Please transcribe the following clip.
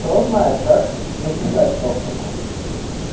то знает как написать токтику